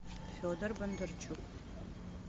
федор бондарчук